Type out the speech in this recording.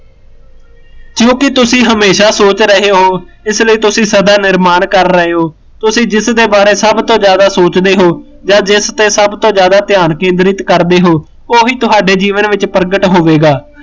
ਕਿਓਕਿ ਤੁਸੀਂ ਹਮੇਸ਼ਾ ਸੋਚ ਰਹੇ ਹੋ, ਇਸ ਲਈ ਤੁਸੀਂ ਸਦਾ ਨਿਰਮਾਣ ਕਰ ਰਹੇ ਹੋ, ਜਿਸ ਦੇ ਬਾਰੇ ਸਭ ਤੋਂ ਜਿਆਦਾ ਸੋਚਦੇ ਹੋ, ਜਿਸ ਤੇ ਸਭ ਤੋਂ ਜਿਆਦਾ ਧਿਆਨ ਕੇਂਦਰਿਤ ਕਰਦੇ ਹੋ, ਉਹੀਂ ਤੁਹਾਡੇ ਜੀਵਨ ਵਿੱਚ ਪ੍ਰਗਟ ਹੋਵੇਗਾ